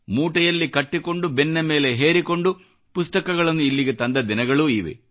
ಮೂಟೆಯಲ್ಲಿ ಕಟ್ಟಿಕೊಂಡು ಬೆನ್ನ ಮೇಲೆ ಹೇರಿಕೊಂಡು ಪುಸ್ತಕಗಳನ್ನು ಇಲ್ಲಿಗೆ ತಂದ ದಿನಗಳೂ ಇವೆ